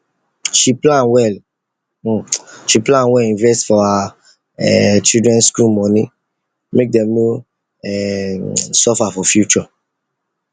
she plan well she plan well invest for her um children school money make dem no um suffer for future